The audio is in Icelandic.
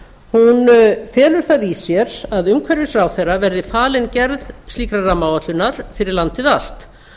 rammaáætlun um náttúruvernd felur það í sér að umhverfisráðherra verði falin gerð slíkrar rammaáætlunar fyrir landið allt